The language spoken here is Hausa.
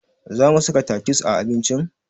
Zamu saka taitus a abincin?